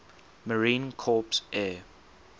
marine corps air